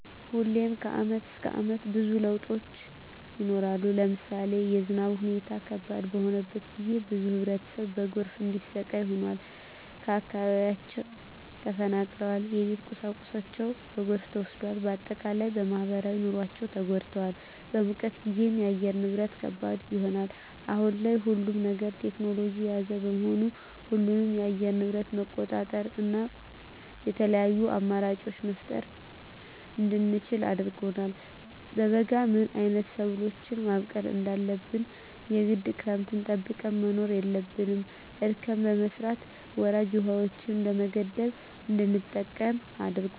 ሁሌም ከአመት እስከ አመት ብዙ ለውጦች ይኖራሉ። ለምሳሌ የዝናብ ሁኔታው ከባድ በሆነበት ጊዜ ብዙ ህብረተሰብ በጎርፍ እንዲሰቃይ ሆኗል። ከአካባቢያቸው ተፈናቅለዋል የቤት ቁሳቁሳቸው በጎርፍ ተወስዷል። በአጠቃላይ በማህበራዊ ኑሯቸው ተጎድተዋል። በሙቀት ጊዜም የአየር ንብረት ከባድ ይሆናል። አሁን ላይ ሁሉም ነገር ቴክኖሎጅን የያዘ በመሆኑ ሁሉንም የአየር ንብረት መቆጣጠር እና የተለያዪ አማራጮች መፍጠር እንድንችል አድርጎናል። በበጋ ምን አይነት ሰብሎችን ማብቀል እንዳለብን የግድ ክረምትን ጠብቀን መሆን የለበትም እርከን በመስራት ወራጅ ውሀዎችን በመገደብ እንድንጠቀም አድርጎናል።